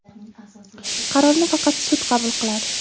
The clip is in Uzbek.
qarorni faqat sud qabul qiladi.